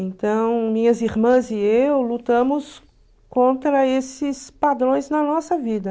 Então, minhas irmãs e eu lutamos contra esses padrões na nossa vida.